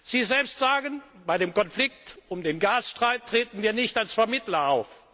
ist gut. Sie selbst sagen, bei dem Konflikt um den Gasstreit treten wir nicht als Vermittler